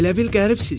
Elə bil qəribsiz?